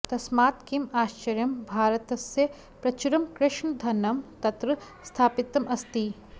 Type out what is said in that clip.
तस्मात् किम् आश्चर्यं भारतस्य प्रचुरं कृष्णधनं तत्र स्थापितम् अस्ति